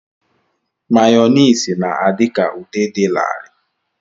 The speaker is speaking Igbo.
Mayoniisi na-adị ka ude dị larịị.